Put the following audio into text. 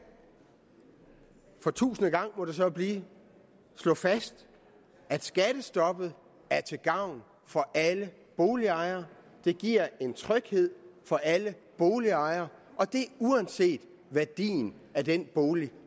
for tusinde gang må det så blive slå fast at skattestoppet er til gavn for alle boligejere det giver en tryghed for alle boligejere uanset værdien af den bolig